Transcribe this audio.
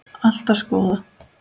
Allt var skoðað.